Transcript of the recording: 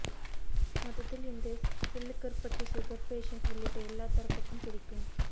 மொத்தத்தில் இந்த Sillukaruppatti sugar patient உள்ளிட்ட எல்லா தரப்புக்கும் பிடிக்கும்